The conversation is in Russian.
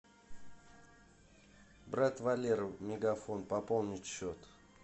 брат валера мегафон пополнить счет